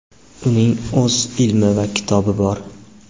uning o‘z ilmi va kitobi bor.